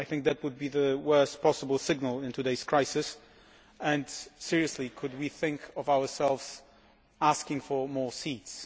I think that would be the worst possible signal in today's crisis and, seriously, could we think of ourselves asking for more seats?